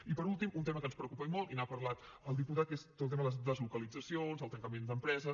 i per últim un tema que ens preocupa i molt i n’ha parlat el diputat que és tot el tema de les deslocalitzacions del tancament d’empreses